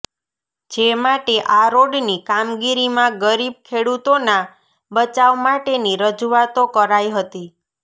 જે માટે આ રોડની કામગીરીમાં ગરીબ ખેડૂતોના બચાવ માટેની રજૂઆતો કરાઇ હતી